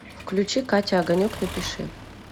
включи катя огонек напиши